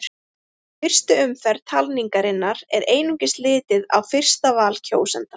Í fyrstu umferð talningarinnar er einungis litið á fyrsta val kjósenda.